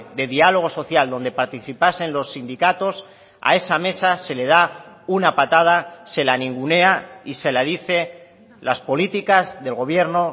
de diálogo social donde participasen los sindicatos a esa mesa se le da una patada se la ningunea y se la dice las políticas del gobierno